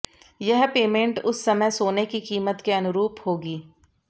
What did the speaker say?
यह पेमेंट उस समय सोने की कीमत के अनुरूप होगी